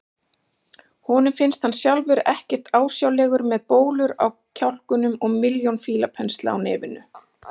Honum finnst hann sjálfur ekkert ásjálegur með bólur á kjálkunum og milljón fílapensla á nefinu.